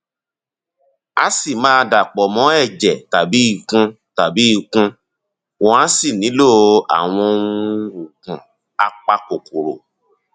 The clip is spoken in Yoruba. a sì máa dàpọ mọ ẹjẹ tàbí ikun tàbí ikun wọn á sì nílò àwọn um oògùn apakòkòrò